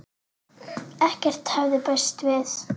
Ekkert hafði bæst við.